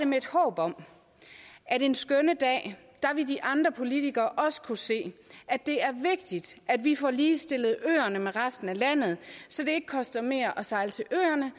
med et håb om at en skønne dag ville de andre politikere også kunne se at det er vigtigt at vi får ligestillet øerne med resten af landet så det ikke koster mere at sejle til øerne